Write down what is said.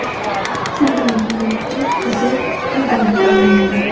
Shundan keyin u qizil gigantga aylanadi.